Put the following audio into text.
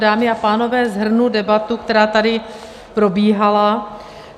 Dámy a pánové, shrnu debatu, která tady probíhala.